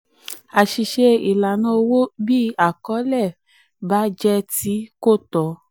àṣìṣe ìlànà owó: bí àkọlé àkọlé bá jẹ ti kò tọ́.